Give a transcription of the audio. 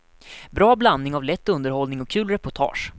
Bra blandning av lätt underhållning och kul reportage.